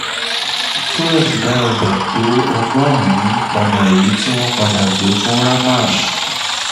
suresh dá ọjà tó tó ọgọ́rùn-ún padà èyí tí wọ́n padà gbé fún ramesh